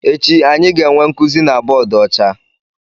Echi, anyị ga-enwe nkuzi na bọọdụ ọcha.